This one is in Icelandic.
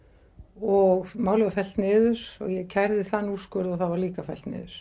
og málið var fellt niður ég kærði þann úrskurð og það var líka fellt niður